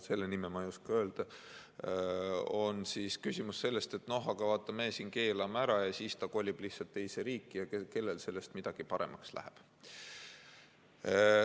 Selle nime ma ei oska öelda, aga küsimus on selles, et no aga vaata, me siin keelame ära, ja siis ta kolib lihtsalt teise riiki ja kellel sellest midagi paremaks läheb.